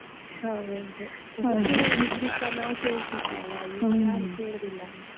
ಹೌದು. ಬುದ್ದಿ ಹೇಳಿದ್ರುಸ ನಾವು ಕೇಳ್ತಿದ್ವಿ ಅಲ್ಲ. ಈವಾಗ ಯಾರು ಕೇಳುದಿಲ್ಲ.